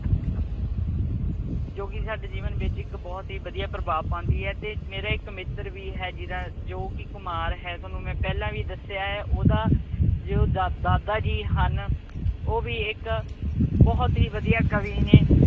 ਜੋ ਕੀ ਸਾਡੇ ਜੀਵਨ ਵਿੱਚ ਇੱਕ ਬਹੁਤ ਹੀ ਵਧੀਆ ਪ੍ਰਭਾਵ ਪਾਉਂਦੀ ਹੈ ਤੇ ਮੇਰਾ ਇੱਕ ਮਿੱਤਰ ਵੀ ਹੈ ਜੀਦਾ ਜੋ ਕੀ ਘਮਾਰ ਹੈ, ਥੋਨੂੰ ਮੈਂ ਪਹਿਲਾ ਵੀ ਦੱਸਿਆ ਆ। ਓਹਦਾ ਜੋ ਦਾਦਾ ਜੀ ਹਨ, ਉਹ ਵੀ ਇੱਕ ਬਹੁਤ ਹੀ ਵਧੀਆ ਕਵੀ ਨੇ